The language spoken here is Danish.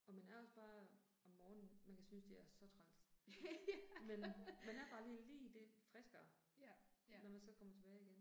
Og man er også bare om morgenen, man kan synes de er så træls. Men man er bare lige lige det friskere, når man så kommer tilbage igen